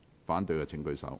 反對的請舉手。